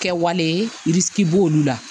Kɛwale b'olu la